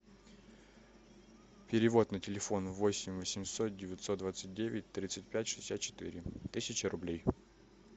перевод на телефон восемь восемьсот девятьсот двадцать девять тридцать пять шестьдесят четыре тысяча рублей